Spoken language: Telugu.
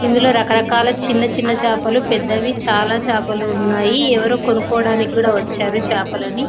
ఇందులో రకరకాల చిన్న చిన్న చాపలు పెద్దవి చాలా చేపలు ఉన్నాయి. ఎవరో కొనుక్కోవడానికి కూడా వచ్చారు చేపలని.